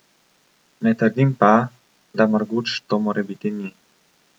Ne trdim pa, da Marguč to morebiti ni.